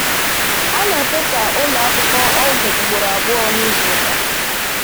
A na-efesa ụlọ akụkọ ọgwụ ugboro abụọ n'izu ụka.